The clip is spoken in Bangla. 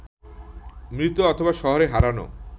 মৃত অথবা শহরে হারানো